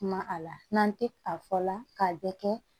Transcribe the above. Kuma a la n'an tɛ a fɔla k'a bɛ kɛ